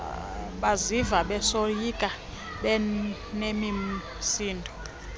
baziva besoyika benemisindo